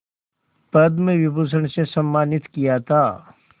पद्म विभूषण से सम्मानित किया था